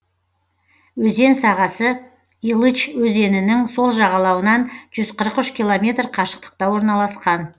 өзен сағасы илыч өзенінің сол жағалауынан жүз қырық үш километр қашықтықта орналасқан